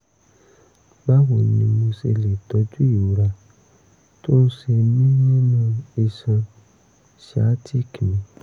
báwo ni mo ṣe lè tọ́jú ìrora tó ń ṣe mí nínú iṣan sciatic mi?